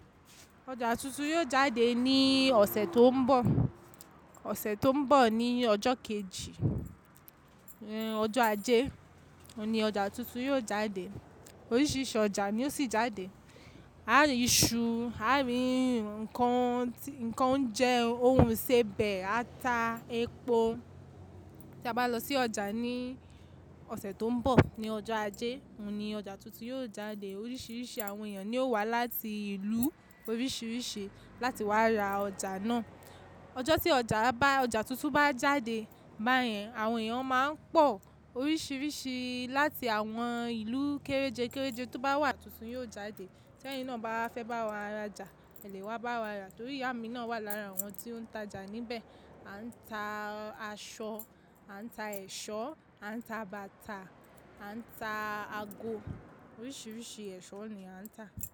Ọjà tuntun yóò jáde ní ọ̀sẹ̀ tó ńbọ̀, ọ̀sẹ̀ tó ńbọ̀ ní ọjọ́ kejì, ọjọ́ ajé, ọun ọjà tuntun yóò jáde, oríṣiríṣi ọjà ní ó sì jáde. A rí iṣu, a rí ǹkan, ǹkan oúnjẹ, ohun iṣẹbẹ, ata, epo. Tí a bá lọ sí ọjà ní ọ̀sẹ̀ tó ńbọ̀ ní ọjọ́ ajé, ọun ọjà tuntun yóò jáde. Oríṣiríṣi àwọn èyàn ní ó wà láti ìlú oríṣiríṣi láti wá ra ọjà náà. Ọjọ́ tí ọjà bá, ọjà tuntun bá jáde báyẹn àwọn èyàn ma n pọ̀, oríṣiríṣi láti àwọn ìlú kéréje kéréje tó bá wà tuntun yóò jáde. Tèyin náà bá fẹ́ bá wa ra ọjà, ẹlẹ́wà bá wa ra torí ìyá mi náà wà lára àwọn tí ó n ta ọjà níbẹ̀. A n ta aṣọ, a n ta ẹ̀ṣọ́, a n ta bàtà, a n ta ago, oríṣiríṣi ẹ̀ṣọ́ ní a n ta.